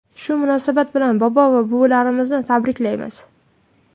Shu munosabat bilan bobo va buvilarimizni tabriklaymiz.